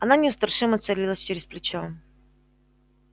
она неустрашимо целилась через плечо